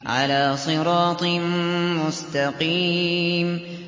عَلَىٰ صِرَاطٍ مُّسْتَقِيمٍ